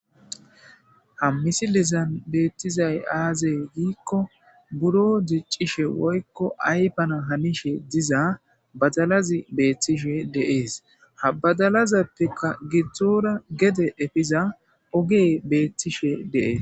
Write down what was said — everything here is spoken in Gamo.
ha misilizan beettizay aazey giikko buro diiccishe woykko aypana hanishe diza badalazi beethtishe deees habadalazappeka gidzdzoora gede efiza ogee beettishe deees